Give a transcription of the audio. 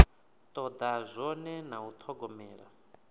toda zwone na u thogomela